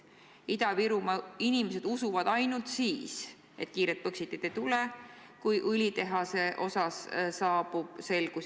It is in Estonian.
Ida-Virumaa inimesed usuvad ainult siis, et kiiret Põxitit ei tule, kui õlitehase osas saabub selgus.